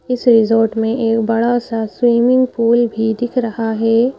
इस रिजॉर्ट में एक बड़ा सा स्विमिंग पूल भी दिख रहा है।